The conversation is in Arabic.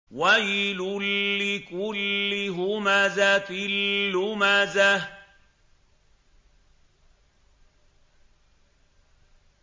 وَيْلٌ لِّكُلِّ هُمَزَةٍ لُّمَزَةٍ